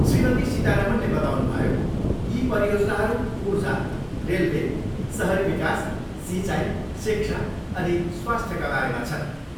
श्रीमती सीतारमणले बताउनुभयो, यी परियोजनाहरू ऊर्जा, रेलवे, सहरी विकास, सिँचाइ, शिक्षा अनि स्वास्थ्यका बारेमा छन्।